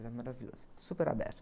Era maravilhoso, super aberto.